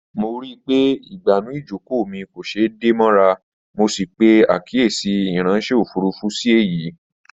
Mo ríi pé ìgbànú ìjókòó mi kò ṣeé dè mọ́ra, mo sì pè àkíyèsí ìráńṣẹ́ òfurufú sí èyìí